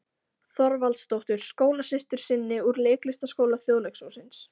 Þorvaldsdóttur, skólasystur sinni úr Leiklistarskóla Þjóðleikhússins.